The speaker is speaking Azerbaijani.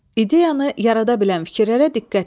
İdeyanı yarada bilən fikirlərə diqqət et.